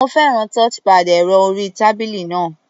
Mo fẹ́ràn touchpad ẹ̀rọ-orí-tábílì náà.